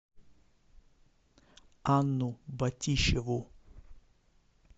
анну батищеву